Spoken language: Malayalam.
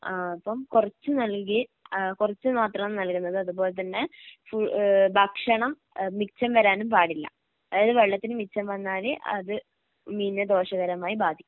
ആ അപ്പം കുറച്ചു നൽകി ഏഹ് കുറച്ച് മാത്രം നൽകുന്നത് അതുപോലെതന്നെ ഫു ഏഹ് ഭക്ഷണം ഏഹ് മിച്ചം വരാനും പാടില്ല. അതായത് വെള്ളത്തില് മിച്ചം വന്നാല് അത് മീനിനെ ദോഷകരമായി ബാധിക്കും.